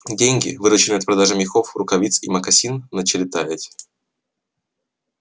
деньги вырученные от продажи мехов рукавиц и мокасин начали таять